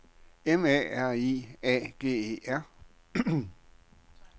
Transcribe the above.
M A R I A G E R